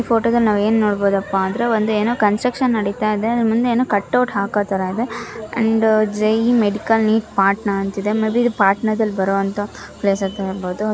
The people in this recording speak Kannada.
ಈ ಫೋಟೋ ದಲ್ಲಿ ನಾವು ಏನು ನೋಡ್ಬಹುದಪ್ಪಾ ಅಂದ್ರೆ ಒಂದು ಏನೋ ಕನ್ಸ್ಟ್ರಕ್ಷನ್ ನಡೀತಾ ಇದೆ ಮುಂದೆ ಏನೋ ಕಟೌಟ್ ಹಾಕೋ ತರ ಇದೆ ಅಂಡ್ ಜೈ ಮೆಡಿಕಲ್ ನೀಟ್ ಪಾರ್ಟ್ನ ಅಂತ ಇದೆ ಮೇಬಿ ಇದು ಪಾಟ್ನಾದಲ್ಲಿ ಬರುವಂತಹ ಪ್ಲೇಸ್ ಅಂತಾ ಹೇಳಬಹುದು.